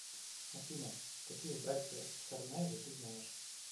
афина какие братья царнаевы ты знаешь